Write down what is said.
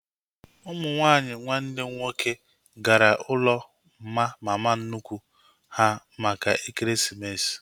Ụmụ nwaanyị nwanne m nwoke gara ụlọ mma mama nnukwu ha maka ekeresimesi